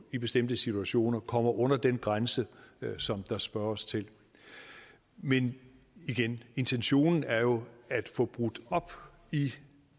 i bestemte situationer kommer under den grænse som der spørges til men igen intentionen er jo at få brudt op i